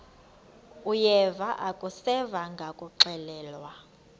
uyeva akuseva ngakuxelelwa